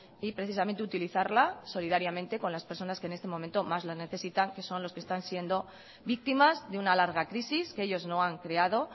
y precisamente utilizarla solidariamente con las personas que en este momento más lo necesitan que son los que están siendo víctimas de una larga crisis que ellos no han creado